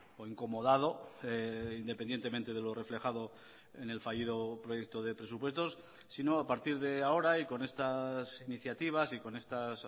o incomodado independientemente de lo reflejado en el fallido proyecto de presupuestos sino a partir de ahora y con estas iniciativas y con estas